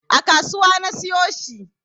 A kasuwa na siyo shi